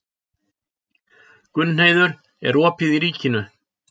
Gunnheiður, er opið í Ríkinu?